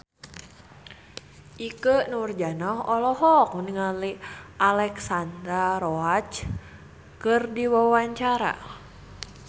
Ikke Nurjanah olohok ningali Alexandra Roach keur diwawancara